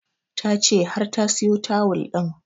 Ta ce har ta siyo tawul ɗin